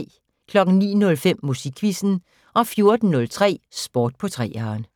09:05: Musikquizzen 14:03: Sport på 3'eren